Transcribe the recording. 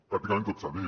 pràcticament tot s’ha dit